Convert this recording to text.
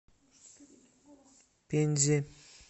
пензе